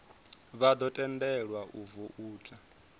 vha ḓo tendelwa u voutha